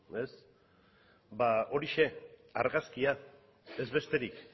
ez ba horixe argazkia ez besterik